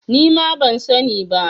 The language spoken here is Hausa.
Nima ban sani ba